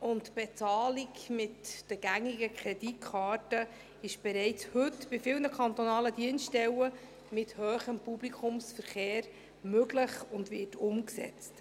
Die Bezahlung mit den gängigen Kreditkarten ist bereits heute bei vielen kantonalen Dienststellen mit hohem Publikumsverkehr möglich und wird umgesetzt.